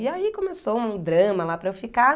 E aí começou um drama lá para eu ficar.